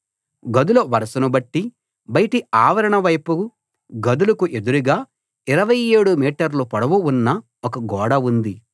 గదుల వరుసను బట్టి బయటి ఆవరణ వైపు గదులకు ఎదురుగా 27 మీటర్ల పొడవు ఉన్న ఒక గోడ ఉంది